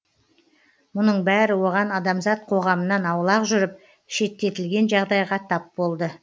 мұның бәрі оған адамзат қоғамынан аулақ жүріп шеттетілген жағдайға тап болды